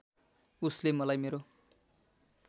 उसैले मलाई मेरो